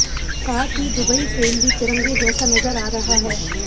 साथ ही Dubai frame भी तिरंगे जैसा नजर आ रहा है